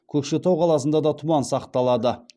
көкшетау қаласында да тұман сақталады